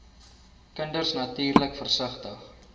kinders natuurlik versigtig